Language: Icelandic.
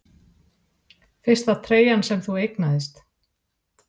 Fyrsta treyjan sem þú eignaðist?